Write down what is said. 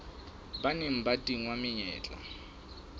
ba neng ba tingwa menyetla